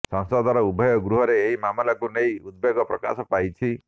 ସଂସଦର ଉଭୟ ଗୃହରେ ଏହି ମାମଲାକୁ ନେଇ ଉଦବେଗ ପ୍ରକାଶ ପାଇଛି